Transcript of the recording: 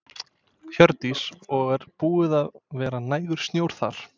Hjördís: Og er búið að vera nægur snjór þar?